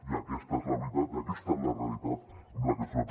i aquesta és la veritat i aquesta és la realitat amb la que ens trobem